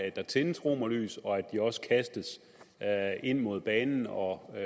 at der tændes romerlys og at de også kastes ind mod banen og så